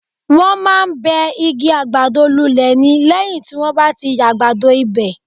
Wọ́n máa ń bẹ́ igi àgbàdo lulẹ̀ ni lẹ́yìn tí wọ́n bá ti yàgbado ibẹ̀.